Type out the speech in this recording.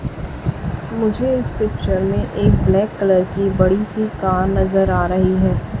मुझे इस पिक्चर में एक ब्लैक कलर की बड़ी सी कार नज़र आ रही है।